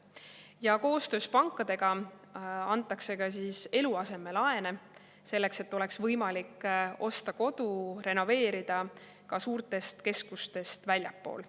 Ja koostöös pankadega antakse ka eluasemelaene, selleks et oleks võimalik osta kodu ja seda renoveerida ka suurtest keskustest väljaspool.